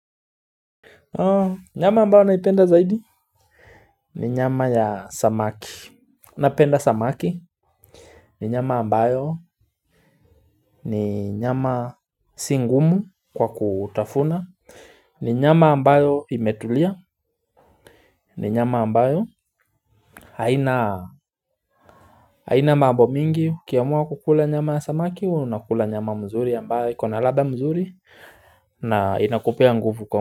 Nyama ambayo naipenda zaidi ni nyama ya samaki, napenda samaki ni nyama ambayo ni nyama si ngumu kwa kutafuna ni nyama ambayo imetulia ni nyama ambayo haina haina mambo mingi ukiamua kukula nyama ya samaki unakula nyama mzuri ambayo iko na ladha mzuri na inakupea nguvu.